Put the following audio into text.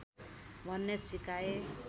भन्ने सिकाए